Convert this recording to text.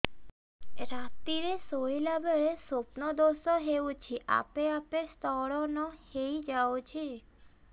ରାତିରେ ଶୋଇଲା ବେଳେ ସ୍ବପ୍ନ ଦୋଷ ହେଉଛି ଆପେ ଆପେ ସ୍ଖଳନ ହେଇଯାଉଛି